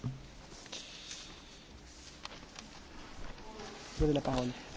Elnök asszony, biztos úr, tisztelt képviselők!